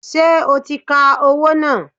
Ṣé o ti ka owó náà?